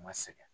Ma sɛgɛn